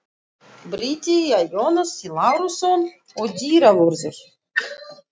Bryti er Jónas Lárusson og dyravörður